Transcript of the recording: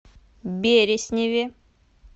бересневе